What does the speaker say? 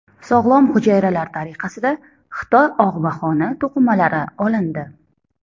Sog‘lom hujayralar tariqasida Xitoy og‘maxoni to‘qimalari olindi.